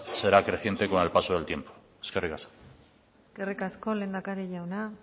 será creciente con el paso de tiempo eskerrik asko eskerrik asko lehendakari jauna